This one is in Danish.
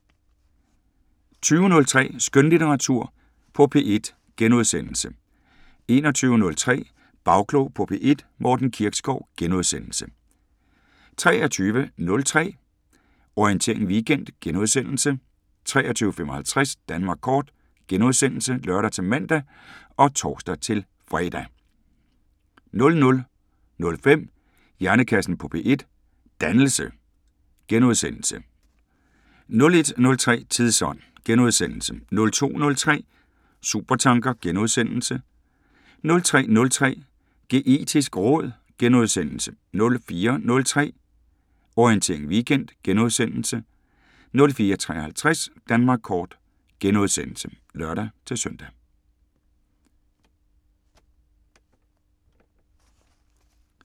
20:03: Skønlitteratur på P1 * 21:03: Bagklog på P1: Morten Kirkskov * 23:03: Orientering Weekend * 23:55: Danmark kort *(lør-man og tor-fre) 00:05: Hjernekassen på P1: Dannelse * 01:03: Tidsånd * 02:03: Supertanker * 03:03: Geetisk råd * 04:03: Orientering Weekend * 04:53: Danmark kort *(lør-søn)